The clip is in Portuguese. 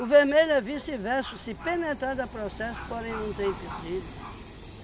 O vermelho é vice-verso, se penetrar dá processo, porém, não tem empecilho